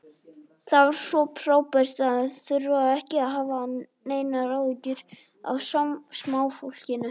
Það var svo frábært að þurfa ekki að hafa neinar áhyggjur af smáfólkinu.